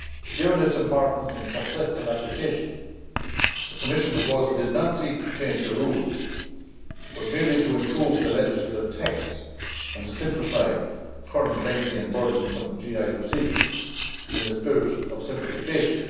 Given its importance and successful application, the Commission proposal did not seek to change the rules but merely to improve the legislative text and to simplify current lengthy and burdensome GI procedures in the spirit of simplification.